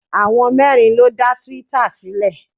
Àwọn mẹ́rin ló dá twitter sílẹ̀.